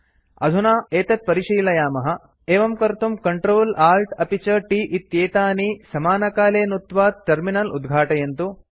अधुना एतत् परिशीलयामः एवं कर्तुं Ctrl Alt अपि च T इत्येतानि समानकाले नुत्त्वा टर्मिनल उद्घाटयन्तु